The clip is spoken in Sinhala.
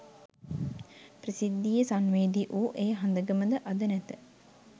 ප්‍රසිද්ධියේ සංවේදී වූ ඒ හඳගම ද අද නැත.